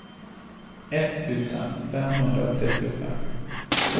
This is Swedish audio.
etttusen femhundratrettiofem